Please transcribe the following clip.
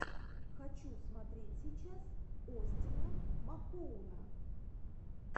хочу смотреть сейчас остина махоуна